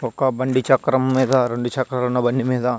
ఒక బండి చక్రం మీద రెండు చక్రాల ఉన్న బండి మీద --